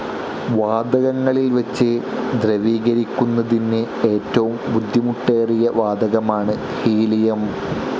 വാതകങ്ങളിൽ വച്ച് ദ്രവീകരിക്കുന്നതിന് ഏറ്റവും ബുദ്ധിമുട്ടേറിയ വാതകമാണ് ഹീലിയം.